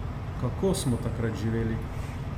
Kako smo takrat živeli?